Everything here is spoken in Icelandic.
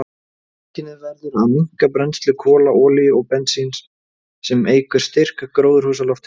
Mannkynið verður að minnka brennslu kola, olíu og bensíns, sem eykur styrk gróðurhúsalofttegunda.